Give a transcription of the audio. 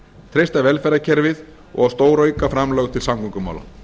treysta velferðarkerfið og að stórauka framlög til samgöngumála